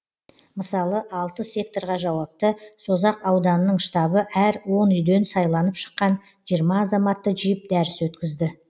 мысалы алты секторға жауапты созақ ауданының штабы әр он үйден сайланып шыққан жиырма азаматты жиып дәріс өткізді